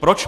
Proč?